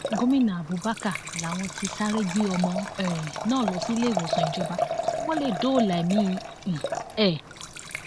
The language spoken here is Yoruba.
gomina abubakar làwọn ti sáré gbé ọmọ um náà lọ síléèwòsàn ìjọba kí wọn lè dóòlà ẹmí um ẹ